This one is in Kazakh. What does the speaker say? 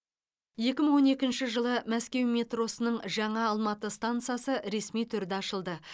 екі мың он екінші жылы мәскеу метросының жаңа алматы стансасы ресми түрде ашылды